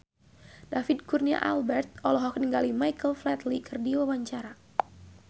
David Kurnia Albert olohok ningali Michael Flatley keur diwawancara